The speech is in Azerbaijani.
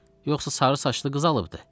Yoxsa sarı saçlı qız alıbdı?